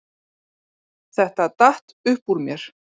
Þetta datt upp úr mér